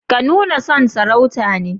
Ka nuna son sarauta ne?